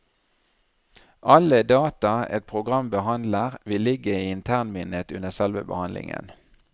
Alle data et program behandler vil ligge i internminnet under selve behandlingen.